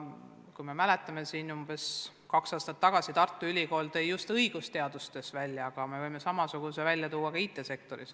Te ehk mäletate, et umbes kaks aastat tagasi Tartu Ülikool tõi just õigusteaduse puhul selle probleemi välja, aga see on ka IT-sektoris.